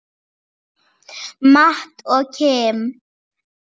Matt og Kim.